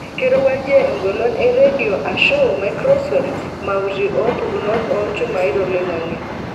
Keirowuajie egolon e radio aashu maikroswef maauti oo mpukunot oolchumai toloing'ang'e.